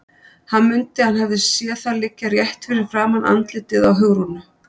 Hann mundi að hann hafði séð það liggja rétt fyrir framan andlitið á Hugrúnu.